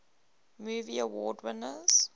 movie award winners